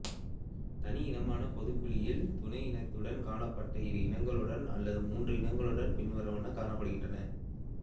தனி இனமான பொதுக் குயில் துணை இனத்துடன் காணப்பட இரு இனங்களுடன் அல்லது மூன்று இனங்களுடன் பின்வருவன காணப்படுகின்றன